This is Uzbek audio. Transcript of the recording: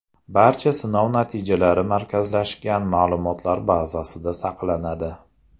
Barcha sinov natijalari markazlashgan ma’lumotlar bazasida saqlanadi.